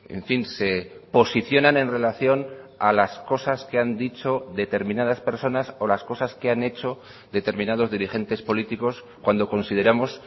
en fin se posicionan en relación a las cosas que han dicho determinadas personas o las cosas que han hecho determinados dirigentes políticos cuando consideramos